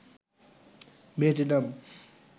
মেয়েটির নাম